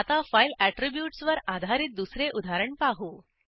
आता फाईल ऍट्रिब्यूट्सवर आधारित दुसरे उदाहरण पाहू